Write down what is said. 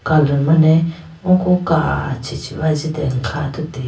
color mane oko kachi chibi ajitene kha athuti.